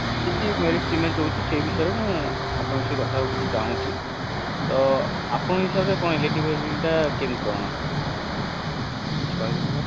କିଛି merit demerit ହଉଛି ସେଇ ବିଷୟରେ ମୁଁ ଆପଣଙ୍କ ସହ କିଛି କଥା ହବାକୁ ଚାହୁଁଛି ତ ଆପଣଙ୍କ ହିସାବରେ electric vehicle ଟା କେମିତି କଣ କିଛି କହିବେ